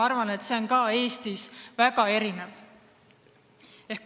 Ma arvan, et see mõju on Eestis väga erinev.